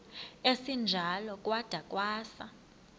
esinjalo kwada kwasa